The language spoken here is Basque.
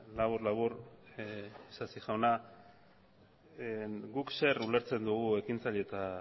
labur labur isasi jauna guk zer ulertzen dugu ekintzaile eta